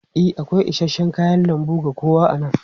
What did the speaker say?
E, akwai isasshen kayan lambu ga kowa a nan.